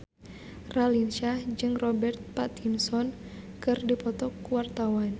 Raline Shah jeung Robert Pattinson keur dipoto ku wartawan